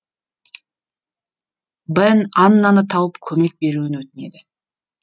бен аннаны тауып көмек беруін өтінеді